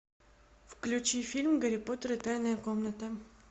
включи фильм гарри поттер и тайная комната